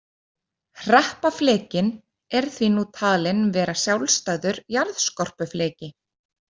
Hreppaflekinn er því nú talinn vera sjálfstæður jarðskorpufleki.